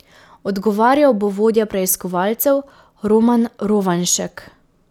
Odgovarjal bo vodja preiskovalcev Roman Rovanšek.